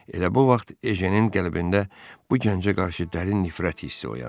Elə bu vaxt Ejenin qəlbində bu gəncə qarşı dərin nifrət hissi oyandı.